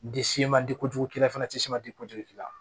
Di se ma di kojugu k'i la fana ti se man di kojugu k'i la